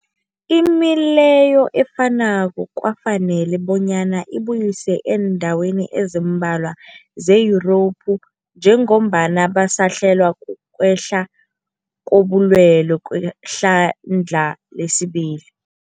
Imileyo efanako kwafanela bonyana ibuyiswe eendaweni ezimbalwa ze-Yurophu njengombana basahlelwa, kukwehla kobulwele kwehlandla lesibili.